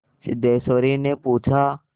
सिद्धेश्वरीने पूछा